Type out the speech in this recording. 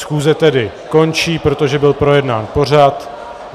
Schůze tedy končí, protože byl projednán pořad.